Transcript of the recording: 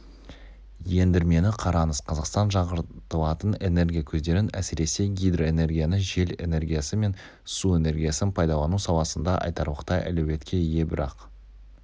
ендірмені қараңыз қазақстан жаңғыртылатын энергия көздерін әсіресе гидроэнергияны жел энергиясы мен су энергиясын пайдалану саласында айтарлықтай әлеуетке ие бірақ